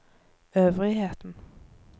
øvrigheten